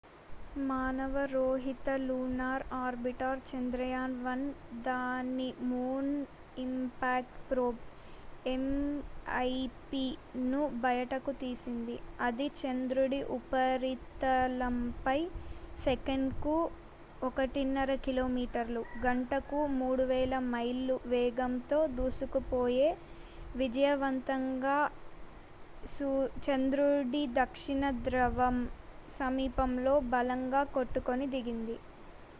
మానవ రహిత lunar orbiter Chandrayaan one దాని మూన్ ఇంపాక్ట్ ప్రోబ్ ఎంఐపిను బయటకు తీసింది ఇది చంద్రుడి ఉపరితలంపై సెకనుకు 1.5 కిలోమీటర్ల గంటకు 3000 మైళ్లు వేగంతో దూసుకుపోయి విజయవంతంగా చంద్రుడి దక్షిణ ధ్రువం సమీపంలో బలంగా కొట్టుకొని దిగింది